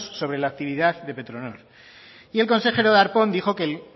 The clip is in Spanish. sobre la actividad de petronor y el consejero darpón dijo que el